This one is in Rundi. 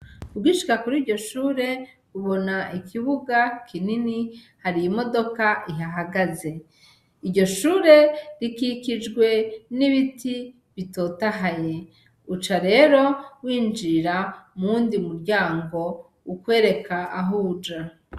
Ugishika kurirya shure ubona ikibuga kinini hari imodoka ihahagaze iryo shure rikikijwe n'ibiti bitotahaye uca rero winjirira muyundi muryango ukwereka ahuja.